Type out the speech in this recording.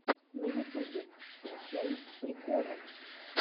на ютубе включай приколы